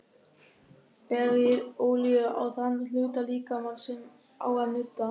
Berið olíu á þann hluta líkamans sem á að nudda.